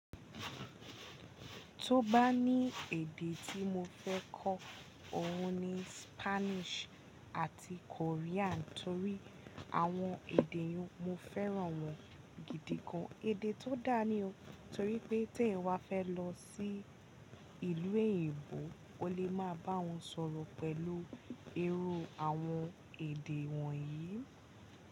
Tó bá ní èdè tí mo fẹ́ kọ́, òhun ni Spanish àti Korean torí àwọn èdè yẹn mo fẹ́ràn wọ́n gidi gan. Èdè tó dáa ni o torí pé tí èèyàn wá fẹ́ lọ sí ìlú èyìnbó o lè máa bá wọ́n sọ̀rọ̀ pẹ̀lú irú àwọn èdè wọ̀nyí.